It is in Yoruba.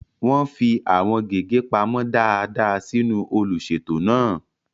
Wọ́n fi àwọn gègé pamọ́ dáadáa sínú olùṣètò náà.